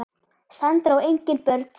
Sandra á engin börn sjálf.